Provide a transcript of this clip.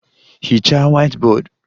Hichaa whiteboard!